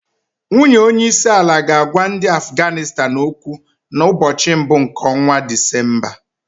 Nwunye onye isi àlà ga-agwa ndị Afganịstan okwu na mbochi mbụ nke ọnwa Disemba.